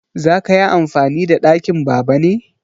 Za ka yi amfani da ɗakin Baba ne?